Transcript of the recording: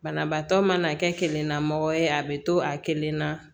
Banabaatɔ mana kɛ kelen na mɔgɔ ye a bɛ to a kelen na